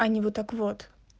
а не вот так вот